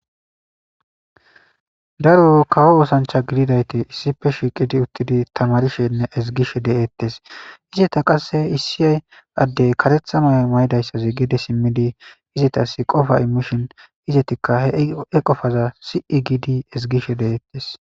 daro kawo oosancha gididayte issife shiiqidi uttidi tamarishenne ezgishe de7eettes izeta qasse issiy addey karethanoy may7idayssazi geede simmidi izetas qofa imishin izetikka he e qofaza si7i giidi ezgishe de'eettes